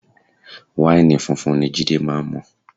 Wáìnì funfun ni Jide máa ń mu